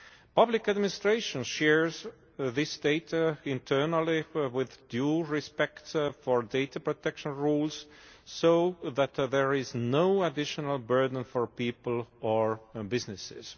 Public administration shares this data internally with due respect for data protection rules, so that there is no additional burden for people or businesses.